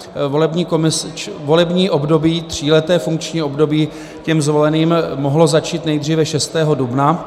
Volební období, tříleté funkční období, těm zvoleným mohlo začít nejdříve 6. dubna.